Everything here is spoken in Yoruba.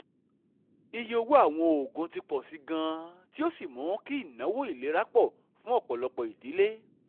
ìyé owó àwọn òògùn ti pọ̀ sí i gan-an tí ó sì mú kí ináwó ìlera pọ̀ fún ọ̀pọ̀lọpọ̀ ìdílé